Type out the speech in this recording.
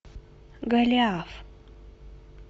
голиаф